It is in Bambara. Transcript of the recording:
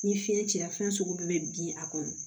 Ni fiɲɛ cira fɛn sugu bɛɛ bɛ bin a kɔnɔ